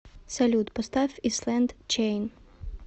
салют поставь ислэнд чейн